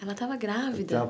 Ela estava grávida?